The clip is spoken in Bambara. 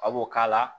A b'o k'a la